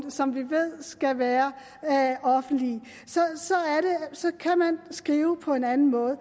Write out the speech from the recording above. og som vi ved skal være offentlige så kan man skrive på en anden måde